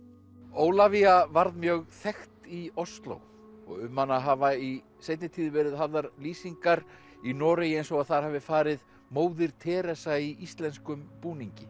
Ólafía varð mjög þekkt í Osló og um hana hafa í seinni tíð verið hafðar lýsingar í Noregi eins og þar hafi farið móðir Teresa í íslenskum búningi